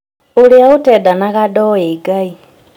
ũrĩa ũtendanaga ndoĩ Ngai